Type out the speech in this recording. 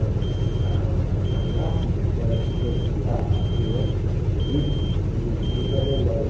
As a a classe era tipo um anfiteatro, assim né, subida, e tinha um janelão.